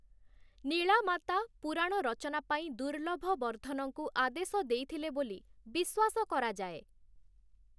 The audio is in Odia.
ନୀଳାମାତା ପୁରାଣ ରଚନା ପାଇଁ ଦୁର୍ଲଭବର୍ଦ୍ଧନଙ୍କୁ ଆଦେଶ ଦେଇଥିଲେ ବୋଲି ବିଶ୍ୱାସ କରାଯାଏ ।